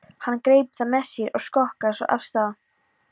Hann greip það með sér og skokkaði svo af stað.